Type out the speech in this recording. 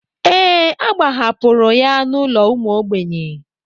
Ee, a gbahapụrụ ya n'ụlọ ụmụ ogbenye.